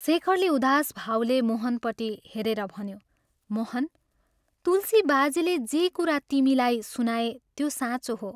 शेखरले उदास भावले मोहनपट्टि हेरेर भन्यो, " मोहन, तुलसी बाजेले जे कुरा तिमीलाई सुनाए त्यो साँचो हो।